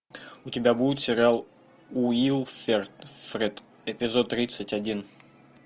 у тебя будет сериал уилфред эпизод тридцать один